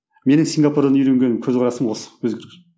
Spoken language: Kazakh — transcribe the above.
менің сингапурдан үйренген көзқарасым осы